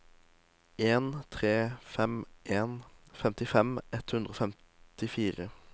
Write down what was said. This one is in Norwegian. en tre fem en femtifem ett hundre og femtifire